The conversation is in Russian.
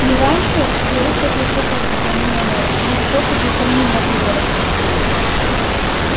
не раньше вересов искоса взглянул на мэра есть способы и помимо выборов